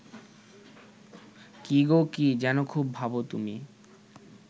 কী গো কী যেন খুব ভাবো তুমি